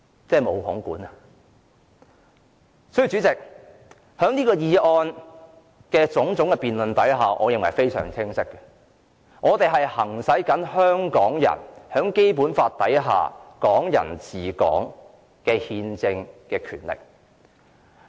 主席，由我們對議案辯論的發言可見，我們的目的非常清晰，我們是在行使香港人在《基本法》所訂"港人治港"下的憲政權力。